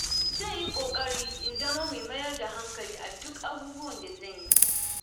Zan yi ƙoƙari in zama mai mayar da hankali a duk abubuwan da zan yi.